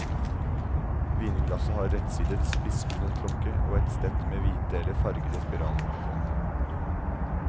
Vinglasset har rettsidet, spissbunnet klokke, og et stett med hvite eller fargede spiraler.